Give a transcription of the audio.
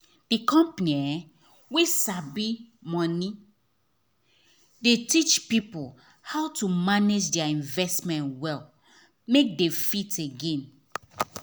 the company wey sabi money dey teach people how to manage their investment well make they fit gain.